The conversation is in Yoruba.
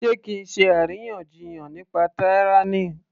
Sé kí á ṣe àríyànjiyàn nípa tyranny